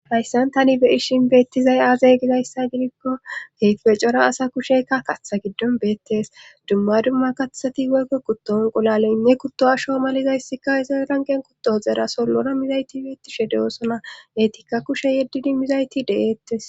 hayssan tani be ishin beettizay aazay gizayssa gidikko keheype cora asa kusheyka katha giddon beettes dumma dumma kathati woykko kutton uqulaleynne kutto asho malizayssikka izranqen kuttohoxera sollona mizayti beettishe de7oosona eetikka kushe yeddidi mizayti de7eettes